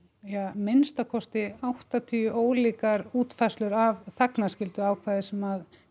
minnsta kosti áttatíu ólíkar útfærslur af þagnarskylduákvæði sem